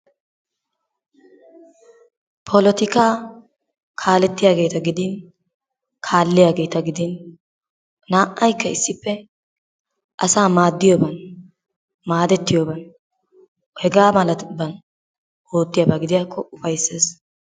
Polotikka kaalettiyageta gidin kaallliyageeta gidin naa'aykka issippe asaa maadiyoban maadetiyoban hegaa malatuban oottiyaba gidiyakko ufaysees.